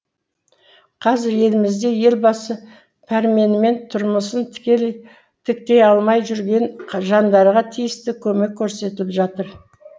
қазір елімізде елбасы пәрменімен тұрмысын тіктей алмай жүрген жандарға тиісті көмек көрсетіліп жатыр